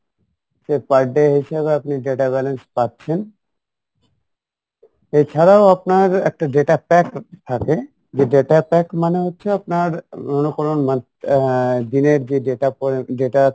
সে per day হিসেবে আপনি data balance পাচ্ছেন ওই ছাড়াও আপনার একটা data pack থাকে যে data pack মানে হচ্ছে আপনার অন্য কোনো আহ দিনের যে data data